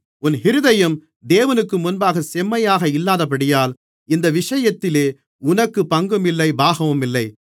உன் இருதயம் தேவனுக்கு முன்பாகச் செம்மையாக இல்லாதபடியால் இந்த விஷயத்திலே உனக்குப் பங்குமில்லை பாகமுமில்லை